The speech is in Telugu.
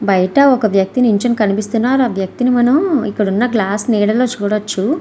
బయటకు ఒక వ్యక్తిని నించొని కనిపిస్తున్నాడ. ఆ వ్యక్తి నీ మనము మనము ఇక్కడున్నా గ్లాసు నీడలోని చూడవచ్చు.